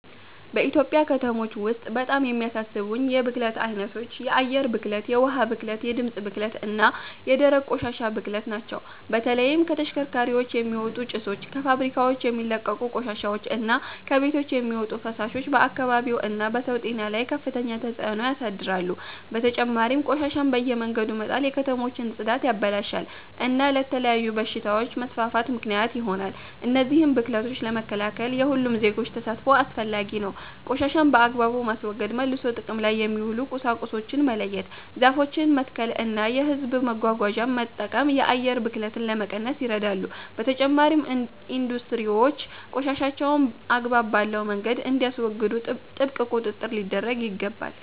በኢትዮጵያ ከተሞች ውስጥ በጣም የሚያሳስቡኝ የብክለት ዓይነቶች የአየር ብክለት፣ የውኃ ብክለት፣ የድምፅ ብክለት እና የደረቅ ቆሻሻ ብክለት ናቸው። በተለይም ከተሽከርካሪዎች የሚወጡ ጭሶች፣ ከፋብሪካዎች የሚለቀቁ ቆሻሻዎች እና ከቤቶች የሚወጡ ፍሳሾች በአካባቢው እና በሰው ጤና ላይ ከፍተኛ ተጽእኖ ያሳድራሉ። በተጨማሪም ቆሻሻን በየመንገዱ መጣል የከተሞችን ጽዳት ያበላሻል እና ለተለያዩ በሽታዎች መስፋፋት ምክንያት ይሆናል። እነዚህን ብክለቶች ለመከላከል የሁሉም ዜጎች ተሳትፎ አስፈላጊ ነው። ቆሻሻን በአግባቡ ማስወገድ፣ መልሶ ጥቅም ላይ የሚውሉ ቁሳቁሶችን መለየት፣ ዛፎችን መትከል እና የሕዝብ መጓጓዣን መጠቀም የአየር ብክለትን ለመቀነስ ይረዳሉ። በተጨማሪም ኢንዱስትሪዎች ቆሻሻቸውን አግባብ ባለው መንገድ እንዲያስወግዱ ጥብቅ ቁጥጥር ሊደረግ ይገባል።